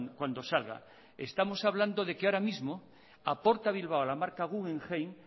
cuando salga estamos hablando de que ahora mismo aporta bilbao a la marca guggenheim